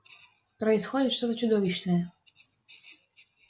происходит что-то чудовищное